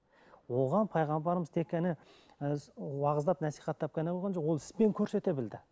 оған пайғамбарымыз тек қана ы уағыздап насихаттап қана қойған жоқ ол іспен көрсете білді